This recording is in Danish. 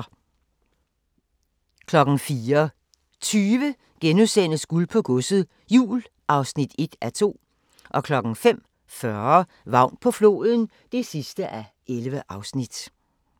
04:20: Guld på Godset, Jul (1:2)* 05:40: Vagn på floden (11:11)